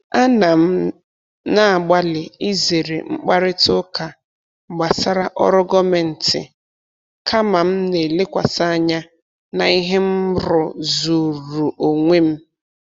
Ana m na-agbalị izere mkparịta ụka gbasara ọrụ gọọmentị, kama m na-elekwasị anya na ihe m rụzuru onwe m.